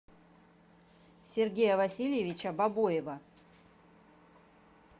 сергея васильевича бобоева